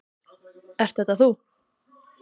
Ert þetta þú?